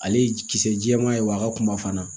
Ale ye kisɛ jɛman ye wa a ka kuma fana